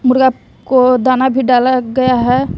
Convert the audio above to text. मुर्गा को दाना भी डाला गया है।